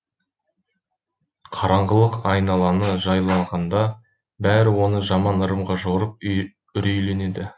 қараңғылық айналаны жайланғанда бәрі оны жаман ырымға жорып үрейленеді